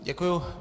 Děkuji.